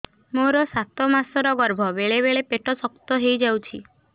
ମୋର ସାତ ମାସ ଗର୍ଭ ବେଳେ ବେଳେ ପେଟ ଶକ୍ତ ହେଇଯାଉଛି